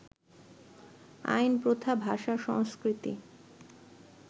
আইন, প্রথা, ভাষা, সংস্কৃতি